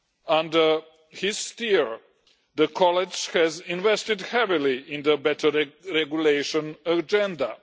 Under his steer, the College has invested heavily in the better regulation agenda.